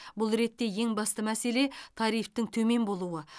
бұл ретте ең басты мәселе тарифтің төмен болуы